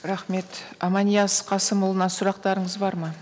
рахмет аманияз қасымұлына сұрақтарыңыз бар ма